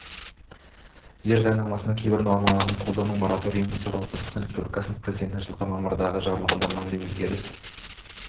жер заңнамасының кейбір нормаларын қолдануға мораторий енгізу туралы қазақстан республикасы президентінің жылғы мамырдағы жарлығына мынадай өзгеріс